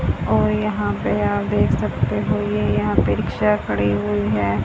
और यहां पे आप देख सकते हो ये यहां पे रिक्शा खड़ी हुई है।